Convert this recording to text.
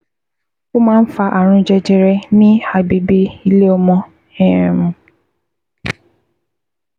O máa ń fa ààrùn jẹjẹrẹ ní agbègbè ilé ọmọ um